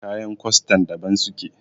kayan kwastan daban suke